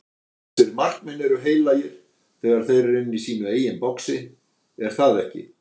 Þessir markmenn eru heilagir þegar þeir eru inni í sínu eigin boxi, er það ekki?